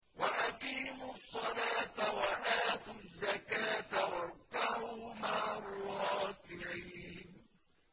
وَأَقِيمُوا الصَّلَاةَ وَآتُوا الزَّكَاةَ وَارْكَعُوا مَعَ الرَّاكِعِينَ